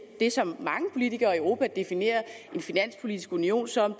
det som mange politikere i europa definerer en finanspolitisk union som